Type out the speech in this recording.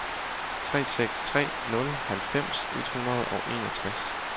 tre seks tre nul halvfems et hundrede og enogtres